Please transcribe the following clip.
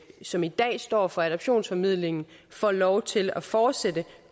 som i dag står for adoptionsformidlingen får lov til at fortsætte